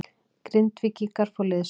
Grindvíkingar fá liðsauka